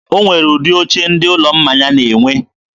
o nwere ụdị oche ndị ụlọ mmanya na-enwe.